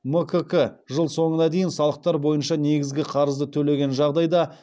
мкк жыл соңына дейін салықтар бойынша негізгі қарызды төлеген жағдайда